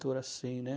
assim, né?